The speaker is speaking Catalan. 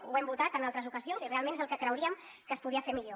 ho hem votat en altres ocasions i realment és el que creuríem que es podia fer millor